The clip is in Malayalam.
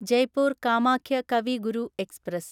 ജയ്പൂർ കാമാഖ്യ കവി ഗുരു എക്സ്പ്രസ്